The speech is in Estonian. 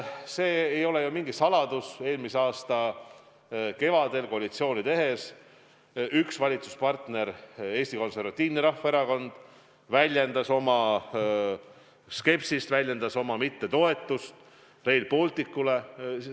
See ei ole ju mingi saladus, et eelmise aasta kevadel koalitsiooni tehes üks valitsuspartner, Eesti Konservatiivne Rahvaerakond, väljendas oma skepsist, väljendas oma mittetoetust Rail Balticule.